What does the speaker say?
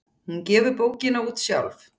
Hún gefur bókina út sjálf.